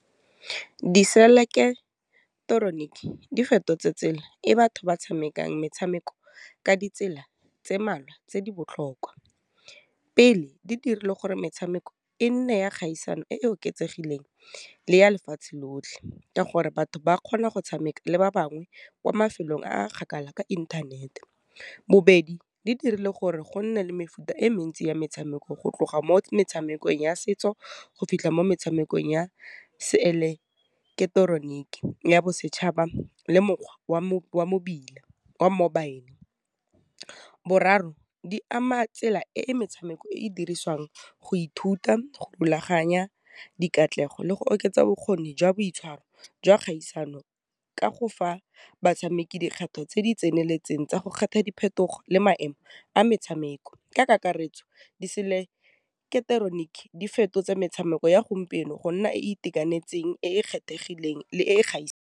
Di di fetotse tsela e batho ba tshamekang metshameko ka ditsela tse mmalwa tse di botlhokwa. Pele, di dirile gore metshameko e nne ya kgaisano e e oketsegileng le ya lefatshe lotlhe ka gore batho ba kgona go tshameka le ba bangwe kwa mafelong a kgakala ka inthanete. Bobedi, di dirile gore go nne le mefuta e mentsi ya metshameko go tloga mo metshamekong ya setso go fitlha mo metshamekong ya ya bosetšhaba, le mokgwa wa mobile. Boraro, di ama tsela e e metshameko e e dirisiwang go ithuta, go rulaganya dikatlanegiso, le go oketsa bokgoni jwa boitshwaro jwa kgaisano ka go fa batshameki dikgato tse di tseneletseng tsa go kgetha diphetogo le maemo a metshameko, ka kakaretso di fetotse metshameko ya gompieno go nna e e itekanetseng e e kgethegileng e kgaisano.